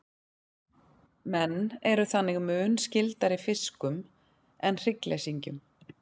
menn eru þannig mun skyldari fiskum en hryggleysingjum